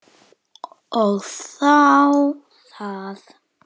Og þá það.